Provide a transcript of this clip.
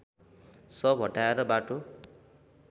शव हटाएर बाटो